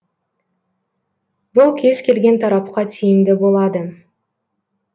бұл кез келген тарапқа тиімді болады